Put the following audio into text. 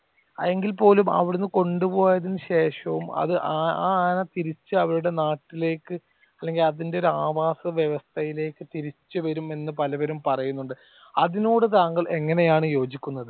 എങ്കിൽ പോലും അവിടെ നിന്നും കൊണ്ട് പോയതിനു ശേഷവും അത് ആ ആന തിരിച്ചു അവരുടെ നാട്ടിലേക്ക് അല്ലെങ്കിൽ അതിന്റെ ഒരു ആവാസവ്യവസ്ഥയിലേക്കു തിരിച്ചുവരുമെന്ന് പലവരും പറയുന്നുണ്ട്. അതിനോട് താങ്കൾ എങ്ങനെയാണ് യോജിക്കുന്നത്